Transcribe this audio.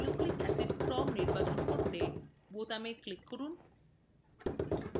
nucleic acid ক্রম নির্বাচন করতে বোতামে click করুন